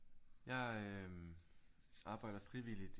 Jeg øh arbejder frivilligt